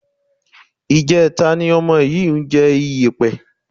Ìjẹta ni ọmọ yìí ń jẹ iyẹ̀pẹ̀